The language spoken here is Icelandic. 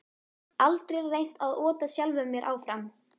Aldrei reynt að ota sjálfum mér áfram